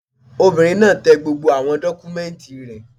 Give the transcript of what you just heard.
Obìnrin náà tẹ gbogbo àwọn dọ́kúmẹ́ǹtì rẹ̀